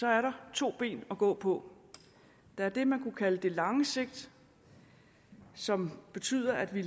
er der to ben at gå på der er det man kan kalde det lange sigt som betyder at vi